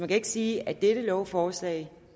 kan ikke sige at dette lovforslag